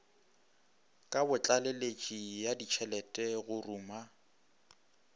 kabotlaleletši ya ditšhelete go ruma